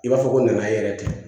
I b'a fɔ ko nana yɛrɛ ten